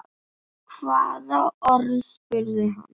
Hvaða orð? spurði hann.